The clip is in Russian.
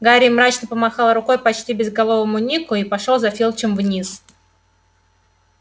гарри мрачно помахал рукой почти безголовому нику и пошёл за филчем вниз